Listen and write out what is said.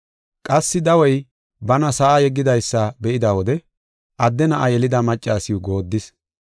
Qassi dawey bana sa7a yeggidaysa be7ida wode adde na7a yelida maccasiw goodis.